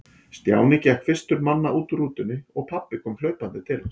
Stjáni gekk fyrstur manna út úr rútunni og pabbi kom hlaupandi til hans.